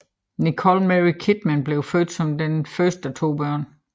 Nicole Mary Kidman blev født som den første af to børn